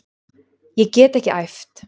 Ég get ekki æft.